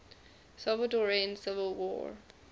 salvadoran civil war